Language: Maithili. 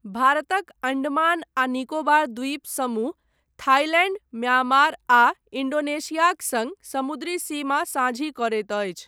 भारतक अण्डमान आ निकोबार द्वीप समूह थाइलैण्ड, म्यांमार आ इन्डोनेशियाक सङ्ग समुद्री सीमा साझी करैत अछि।